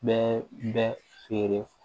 Bɛɛ bɛ feere